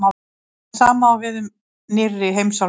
það sama á við um „nýrri“ heimsálfurnar